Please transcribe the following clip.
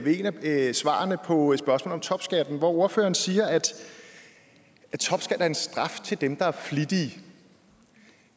et af svarene på et spørgsmål om topskatten hvor ordføreren siger at topskat er en straf til dem der er flittige